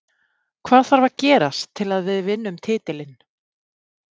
Hvað þarf að gerast til að við vinnum titilinn?